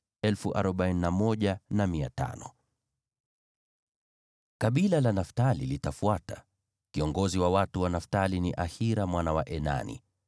Kabila la Naftali litafuata. Kiongozi wa watu wa Naftali ni Ahira mwana wa Enani.